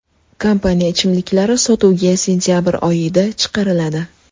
Kompaniya ichimliklari sotuvga sentabr oyida chiqariladi.